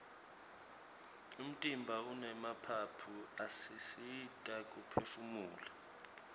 umtimba unemaphaphu asisita kuphefumula